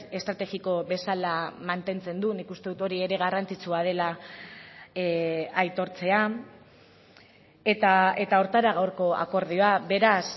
estrategiko bezala mantentzen du nik uste dut hori ere garrantzitsua dela aitortzea eta horretara gaurko akordioa beraz